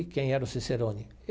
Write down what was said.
E quem era o cicerone?